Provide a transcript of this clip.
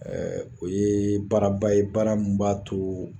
o yee baaraba ye baara min b'a too